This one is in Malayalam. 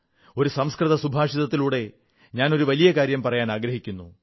ഒരു സംസ്കൃത സുഭാഷിതത്തിലൂടെ ഞാൻ ഒരു വലിയ കാര്യം പറയാനാഗ്രഹിക്കുന്നു